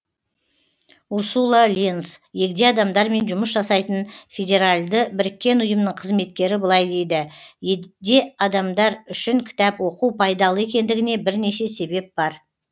урсула ленз егде адамдармен жұмыс жасайтын федеральды біріккен ұйымның қызметкері былай дейді егде адамдар үшін кітап оқу пайдалы екендігіне бірнеше себеп бар